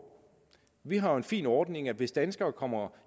vi har jo en fin ordning at hvis danskere kommer